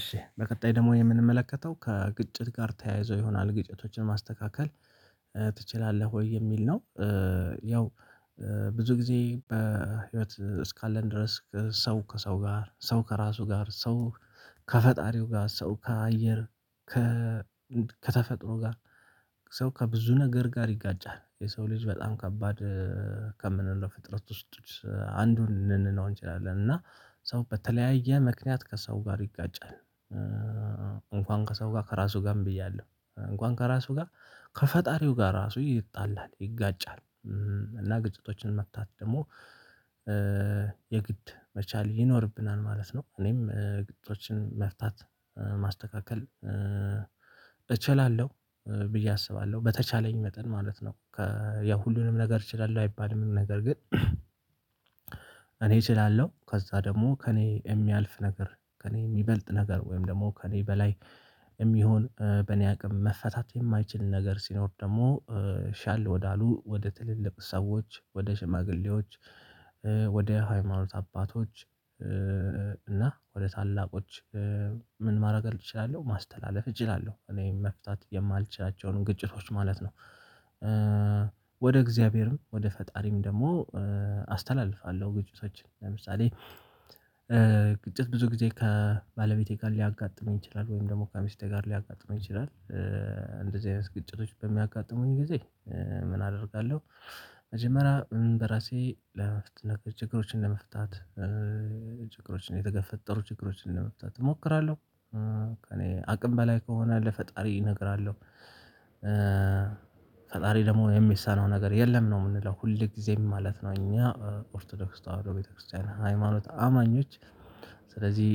እሺ በቀጣይ ደግሞ የምንመለከተው ከግጭት ጋር ተያይዞ ይሆናል ግጭቶችን ማስተካከል ትችላለህ ወይ የሚል ነው? ያው ብዙ ጊዜ በህይወት እስካለን ድረስ ሰው ከሰው ጋር ሰው ከራሱ ጋር ሰው ከፈጣሪው ጋር ሰው ከአየር ከተፈጥሮ ጋር ሰው ከብዙ ነገር ጋር ይጋጫል የሰው ልጅ በጣም ከባድ ከምንለው ፍጥረት ውስጥ አንዱን ልንለው እንችላለን። እና ሰው በተለያየ ምክንያት ከሰው ጋር ይጋጫል። እንኳን ከሰው ጋር ከራሱ ጋርም ብያለሁ እንኳን ከራሱ ጋር ከፈጣሪው ጋር ራሱ ይጣላል ይጋጫል። እና ግጭቶችን መፍታት ደግሞ የግድ መቻል ይኖርብናል ማለት ነው። እኔም ግጭቶችን መፍታት ማስተካከል እችላለሁ ብዬ አስባለሁ በተቻለኝ መጠን ማለት ነው። ያው ሁሉንም ነገር እችላለሁ አይባልም ነገር ግን እኔ እችላለሁ። ከዛ ደግሞ ከእኔ የሚያልፍ ነገር ከእኔ የሚበልጥ ነገር ወይም ደግሞ ከእኔ በላይ የሚሆን በእኔ አቅም መፈታት የማይችል ነገር ሲኖር ደግሞ ሻል ወዳሉ ወደ ትልልቅ ሰዎች ወደ ሽማግሌዎች ወደ ሃይማኖት አባቶች እና ወደ ታላቆች ምን ማረግ እችላለሁ ማስተላለፍ እችላለሁ እኔ መፍታት የማልችላቸውን ግጭቶች ማለት ነው። ወደ እግዚአብሔርም ወደ ፈጣሪም ደግሞ አስተላልፋለሁ። ግጭቶችን ለምሳሌ ግጭት ብዙ ጊዜ ከባለቤቴ ጋር ሊያጋጥመኝ ይችላል ወይም ደግሞ ከሚስቴ ጋር ሊያጋጥመኝ ይችላል። እንደዚህ አይነት ግጭቶች በሚያጋጥሙኝ ጊዜ ምን አደርጋለሁ? መጀመሪያ በራሴ ለመፍታት ችግሮችን ለመፍታት ችግሮችን የተፈጠሩ ችግሮችን ለመፍታት እሞክራለሁ። ከእኔ አቅም በላይ ከሆነ ለፈጣሪ እነገራለው። ፈጣሪ ደግሞ የሚሳነው ነገር የለም ነው የምንለው ሁል ጊዜም ማለት ነው። እኛ ኦርቶዶክስ ተዋህዶ ቤተክርስቲያን ሃይማኖት አማኞች ስለዚህ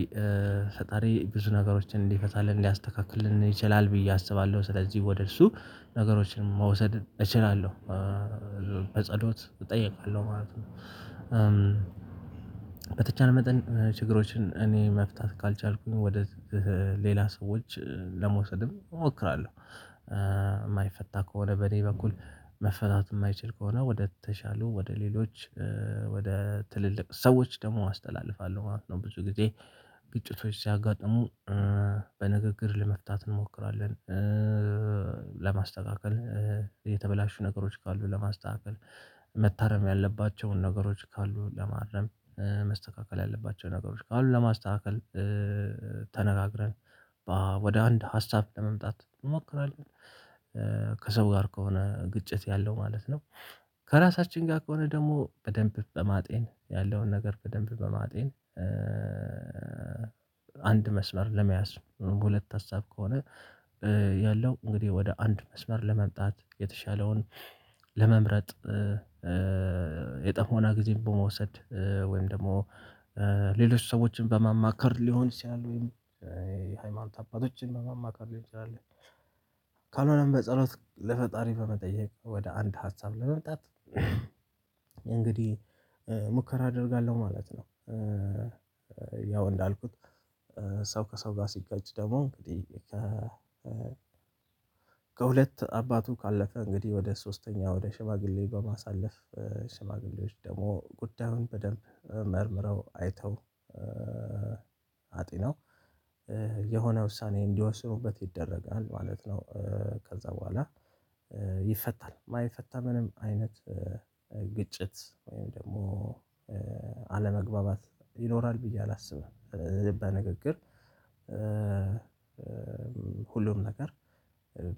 ፈጣሪ ብዙ ነገሮችን እንዲፈታልን ሊያስተካክልን ይችላል ብዬ አስባለሁ ስለዚህ ወደ እሱ ነገሮችን መውሰድ እችላለሁ። በጸሎት እጠይቃለሁ ማለት ነው። በተቻለ መጠን ችግሮችን እኔ መፍታት ካልቻልኩኝ ወደ ሌላ ሰዎች ለመውሰድም እሞክራለሁ የማይፈታ ከሆነ በኔ በኩል መፈታት የማይችል ከሆነ ወደ ተሻሉ ወደ ሌሎች ወደ ትልልቅ ሰዎች ደግሞ አስተላልፋለሁ ማለት ነው። ብዙ ጊዜ ግጭቶች ሲያጋጥሙ በንግግር ለመፍታት እንሞክራለን። ለማስተካከል የተበላሹ ነገሮች ካሉ ለማስተካከል መታረም ያለባቸውን ነገሮች ካሉ ለማረም መስተካከል ያለባቸው ነገሮች ካሉ ለማስተካከል ተነጋግረን ወደ አንድ ሀሳብ ለመምጣት እሞክራለሁ። ከሰው ጋር ከሆነ ግጭት ያለው ማለት ነው። ከራሳችን ጋር ከሆነ ደግሞ በደንብ በማጤን ያለውን ነገር በደንብ በማጤን አንድ መስመር ለመያዝ ሁለት ሀሳብ ከሆነ ያለው እንግዲህ ወደ አንድ መስመር ለመምጣት የተሻለውን ለመምረጥ የጥሞና ጊዜን በመውሰድ ወይም ደግሞ ሌሎች ሰዎችን በማማከር ሊሆን ይችላል ወይም የሃይማኖት አባቶችን በማማከር ሊሆን ይችላል። ካልሆነም በጸሎት ለፈጣሪ በመጠየቅ ወደ አንድ ሀሳብ ለመምጣት እንግዲህ ሙከራ አደርጋለሁ ማለት ነው። ያው እንዳልኩት ሰው ከሰው ጋር ሲጋጭ ደግሞ እንግዲህ ከ ከሁለት አባቱ ካለፈ እንግዲህ ወደ ሶስተኛው ወደ ሽማግሌ በማሳለፍ ሽማግሌዎች ደግሞ ጉዳዩን በደንብ መርምረው አይተው አጢነው የሆነ ውሳኔ እንዲወስኑበት ይደረጋል ማለት ነው። ከዛ በኋላ ይፈታል የማይፈታ ምንም አይነት ግጭት ወይም ደግሞ አለመግባባት ይኖራል ብዬ አላስብም። በንግግር ሁሉም ነገር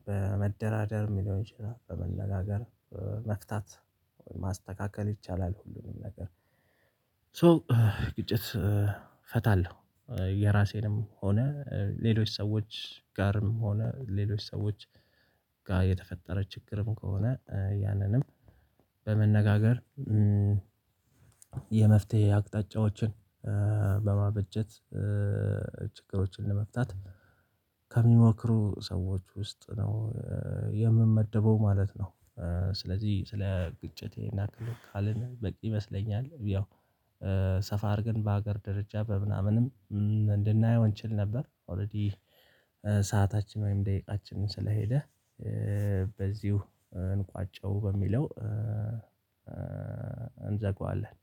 በመደራደር ሊሆን ይችላል በመነጋገር መፍታት ማስተካከል ይቻላል። ሁሉንም ነገር ሶ ግጭት ፈታለሁ የራሴንም ሆነ ሌሎች ሰዎች ጋርም ሆነ ሌሎች ሰዎች ጋር የተፈጠረ ችግርም ከሆነ ያንንም በመነጋገር የመፍትሄ አቅጣጫዎችን በማበጀት ችግሮችን ለመፍታት ከሚሞክሩ ሰዎች ውስጥ ነው የምመደበው ማለት ነው። ስለዚህ ስለ ግጭት ይህን ያክል ካልን በቂ ይመስለኛል። ያው ሰፋ አድርገን በሀገር ደረጃ በምናምንም እንድናየው እንችል ነበር ኦሬዲ ሰዓታችን ወይም ደቂቃችንን ስለሄደ በዚሁ እንቋጨው በሚለው እንዘጋዋለን።